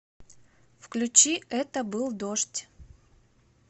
включи это был дождь